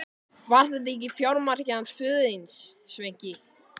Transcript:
Var þetta ekki fjármarkið hans föður þíns, Sveinki?